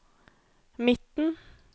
midten